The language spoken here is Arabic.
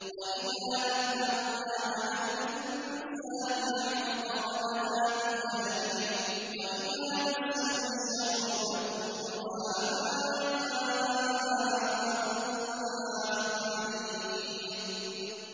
وَإِذَا أَنْعَمْنَا عَلَى الْإِنسَانِ أَعْرَضَ وَنَأَىٰ بِجَانِبِهِ وَإِذَا مَسَّهُ الشَّرُّ فَذُو دُعَاءٍ عَرِيضٍ